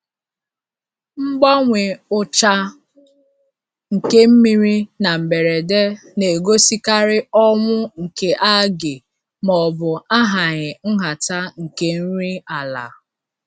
Mgbanwe ucha nke mmiri na mberede na-egosikarị ọnwụ nke algae maọbụ ahaghị nhata nke nri ala.